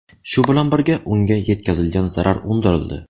Shu bilan birga, unga yetkazilgan zarar undirildi.